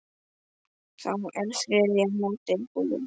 Þá er þriðja mótið búið.